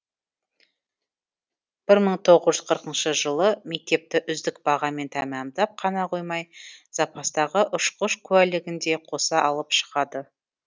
бір мың тоғыз жүз қырқыншы жылы мектепті үздік бағамен тәмамдап қана қоймай запастағы ұшқыш куәлігін де қоса алып шығады